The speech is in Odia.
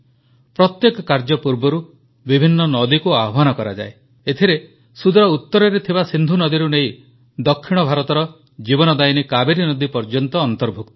ପ୍ରତ୍ୟେକ କାର୍ଯ୍ୟ ପୂର୍ବରୁ ବିଭିନ୍ନ ନଦୀକୁ ଆହ୍ୱାନ କରାଯାଏ ଏଥିରେ ସୂଦୁର ଉତରରେ ଥିବା ସିନ୍ଧୁ ନଦୀରୁ ନେଇ ଦକ୍ଷିଣ ଭାରତର ଜୀବନଦାୟିନୀ କାବେରୀ ନଦୀ ପର୍ଯ୍ୟନ୍ତ ଅନ୍ତର୍ଭୁକ୍ତ